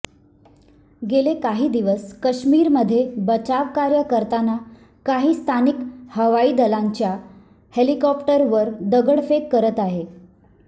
गेले काही दिवस काश्मीरमध्ये बचावकार्य करताना काही स्थानिक हवाईदलाच्या हेलिकॉप्टर्सवर दगडफेक करत आहे